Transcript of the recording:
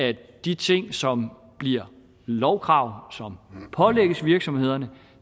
at de ting som bliver lovkrav og som pålægges virksomhederne